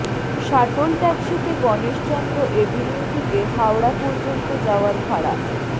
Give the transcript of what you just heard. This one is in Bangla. শাটল ট্যাক্সিতে গণেশচন্দ্র অ্যাভিনিউ থেকে হাওড়া পর্যন্ত যাওয়ার ভাড়া